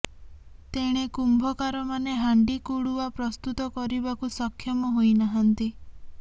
ତେଣେ କୁମ୍ଭକାରମାନେ ହାଣ୍ଡି କୁଡ଼ୁଆ ପ୍ରସ୍ତୁତ କରିବାକୁ ସକ୍ଷମ ହୋଇନାହାନ୍ତି